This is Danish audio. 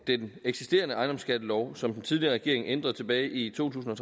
den eksisterende ejendomsskattelov som den tidligere regering ændrede tilbage i to tusind og